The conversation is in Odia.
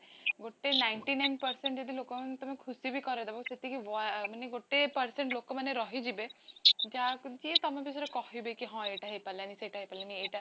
ଗୋଟେ ninety nine percent ଯଦି ଲୋକଙ୍କୁ ତମେ ଖୁସିବି କରେଇ ଦବ ସେତିକି ମାନେ ଗୋଟେ percent ଲୋକ ମାନେ ରହିଯିବେ ଯାହାକୁ ଯିଏ ତମ ବିଷୟରେ କହିବେ କି ହଁ ଏଇଟା ହେଇପାରିଲା ନାହିଁ ସେଇଟା ହେଇପାରିଲା ନାହିଁ ଏଇଟା